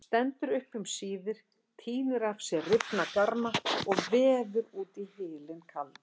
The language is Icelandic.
Stendur upp um síðir, tínir af sér rifna garma og veður út í hylinn kaldan.